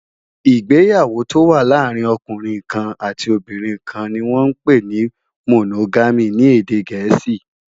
Igbéyàwó tó wà làárin òkúnrin kán àtí óbìrín kán ni wòn mà n pé ni Mónógàmí ni édé gẹẹsi